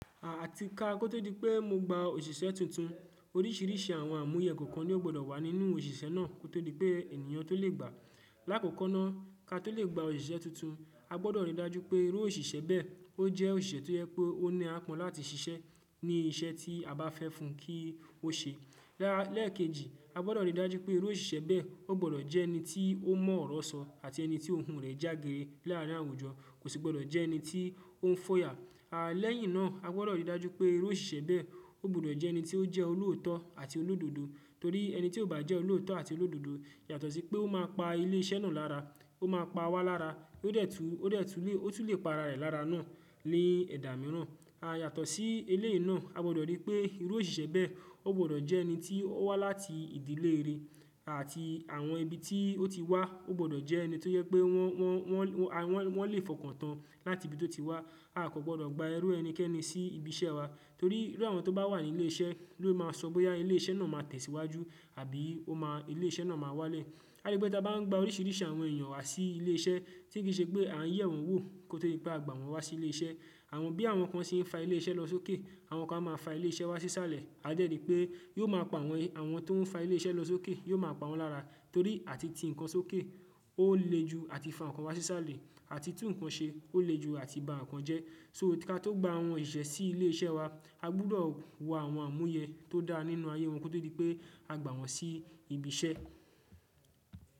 Àti ka tó dípẹ́ mo gba òṣìṣẹ́ tuntun, oríṣìíríṣìí àwọn àmúyẹ kọ̀ọ̀kan ni ó gbọdọ̀ wà nínú òṣìṣẹ́ náà kó tó rí pé ènìyàn tó lè gbà. Láàkọ́kọ́ná, ká tó lè gba òṣìṣẹ́ tuntun, a gbọdọ̀ rí i dájú pé irú òṣìṣẹ́ bẹ́ẹ̀ ó jẹ́ òṣìṣẹ́ tó yẹ pé ó ní aápọn láti ṣiṣẹ́ ní iṣẹ́ tí a bá fẹ́ fún kí ó ṣe. Lẹ́ẹ̀kejì, a gbọdọ̀ rí i dájú pé irú òṣìṣẹ́ bẹ́ẹ̀ ó gbọdọ̀ jẹ́ ẹni tí ó mọ ọ̀rọ̀ sọ àti ẹni tí ohùn rẹ̀ jágéré láàrin àwùjọ, kò sì gbọdọ̀ jẹ́ ẹni tí ó ń fòyà. Àá lẹ́yìn náà, a gbọdọ̀ rí i dájú pé irú òṣìṣẹ́ bẹ́ẹ̀ ó gbọdọ̀ jẹ́ ẹni tí ó jẹ́ olóòótọ́ àti olódodo torí ẹni tí ò bá jẹ́ olóòótọ́ àti olódodo yàtọ̀ sí pé ó máa pa ilé iṣẹ́ náà lára, ó máa pa wa lára, ó tún lè pa ara rẹ̀ lára náà ni ẹ̀dà mìíràn. A yàtọ̀ sí eléyìí náà, a gbọdọ̀ rí pé irú òṣìṣẹ́ bẹ́ẹ̀ ó gbọdọ̀ jẹ́ ẹni tí ó wá láti ìdílé rere àti àwọn ibi tí ó ti wá ó gbọdọ̀ jẹ́ ẹni tó yẹ pé wọn lè fọkàn tán láti ibi tó ti wá. A kò gbọdọ̀ gba irú ẹni kẹ́ni sí ibi iṣẹ́ wa torí irú àwọn tó bá wà ní ilé iṣẹ́ ló máa sọ bóyá ilé iṣẹ́ náà máa tẹ̀síwájú àbí ilé iṣẹ́ náà máa wálẹ̀. A rí pé tí a bá ń gba oríṣìíríṣìí àwọn èèyàn wá sí ilé iṣẹ́ tí kì í ṣe pé à ń yẹ̀ wọ́n wò kó tó rí pé a gba wọ́n wá sí ilé iṣẹ́. Bí àwọn kan ṣe ń fa ilé iṣẹ́ lọ sókè, àwọn kan máa ń fa ilé iṣẹ́ wá sí sálẹ̀. A dẹ́ rí pé yóò máa pa àwọn tó ń fa ilé iṣẹ́ lọ sókè, yóò máa pa wọ́n lára torí àti ti nǹkan sókè ó le ju àti fa nǹkan wá sí sálẹ̀, àti tun nǹkan ṣe ó le ju àti ba nǹkan jẹ́. So ká tó gba àwọn òṣìṣẹ́ sí ilé iṣẹ́ wa, a gbúdọ̀ wo àwọn àmúyẹ tó dá nínú ayé wọn kó tó rí pé a gba wọ́n sí ibi iṣẹ́.